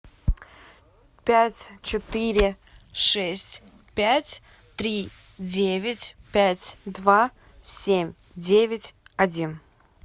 пять четыре шесть пять три девять пять два семь девять один